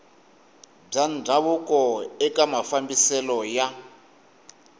bya ndhavuko eka mafambiselo ya